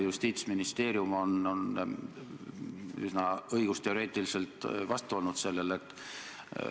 Justiitsministeerium on üsna õigusteoreetiliselt selle muutmisele vastu olnud.